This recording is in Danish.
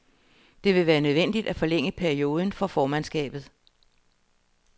Det vil være nødvendigt at forlænge perioden for formandskabet.